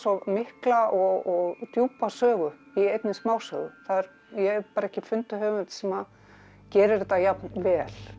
mikla og djúpa sögu í einni smásögu ég hef ekki fundið höfund sem gerir þetta jafn vel